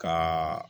Ka